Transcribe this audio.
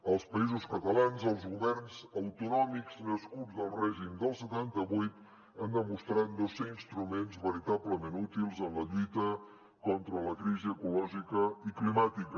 als països catalans els governs autonòmics nascuts del règim del setanta vuit han demostrat no ser instruments veritablement útils en la lluita contra la crisi i ecològica i climàtica